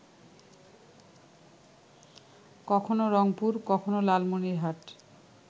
কখনো রংপুর, কখনো লালমনিরহাট